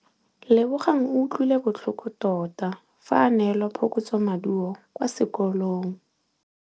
Lebogang o utlwile botlhoko tota fa a neelwa phokotsômaduô kwa sekolong.